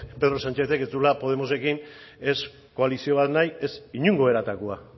pedro sánchezek ez zuela podemosekin ez koalizio bat nahi ez inongo eratakoa